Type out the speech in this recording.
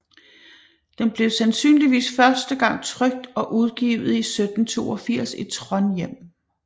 Den blev sandsynligvis første gang trykt og udgivet i 1782 i Trondheim